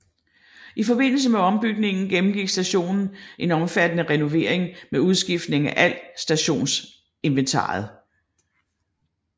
I forbindelse med ombygningen gennemgik stationen en omfattende renovering med udskiftning af alt stationsinventaret